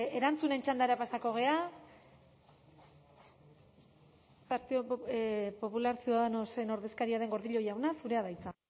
erantzunen txandara pasako gara partido popular ciudadanosen ordezkaria den gordillo jauna zurea da hitza